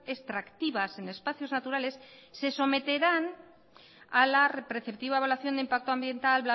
extractivas en espacios naturales se someterán a la preceptiva evaluación de impacto ambiental